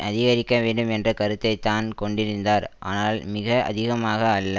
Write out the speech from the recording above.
அதிகரிக்கவேண்டும் என்ற கருத்தைத்தான் கொண்டிருந்தார் ஆனால் மிக அதிகமாக அல்ல